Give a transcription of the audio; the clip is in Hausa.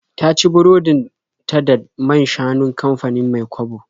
Ta ci burodin ta da man-shanun kamfanin Mai-kwabo.